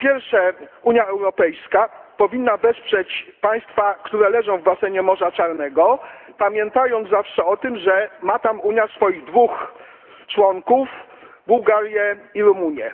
Po pierwsze, Unia Europejska powinna wesprzeć państwa, które leżą w basenie Morza Czarnego, pamiętając zawsze o tym, że ma tam swoich dwóch członków Bułgarię i Rumunię.